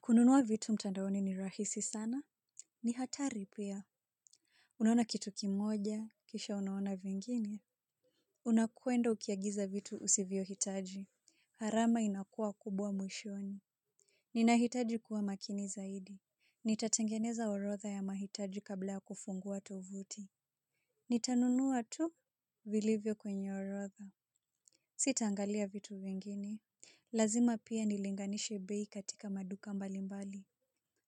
Kununua vitu mtandaoni ni rahisi sana? Ni hatari pia. Unaona kitu kimoja, kisha unaona vingine. Unakwenda ukiagiza vitu usivyohitaji. Gharama inakua kubwa mwishoni. Ninahitaji kuwa makini zaidi. Nitatengeneza orodha ya mahitaji kabla ya kufungua tovuti. Nitanunua tu? Vilivyo kwenye orodha. Sitaangalia vitu vingine. Lazima pia nilinganishe bei katika maduka mbali mbali.